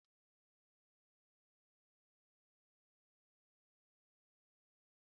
Ọ̀ dị m ka spugeetí Gòldin Penì dị mma karịa ụdị ndị ọzọ